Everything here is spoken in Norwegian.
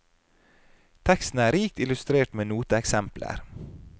Teksten er rikt illustrert med noteeksempler.